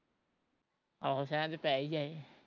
ਆਹੋ ਸ਼ੈਦ ਪੈ ਈ ਜਾਏ